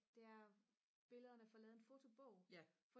det er billederne får lavet en fotobog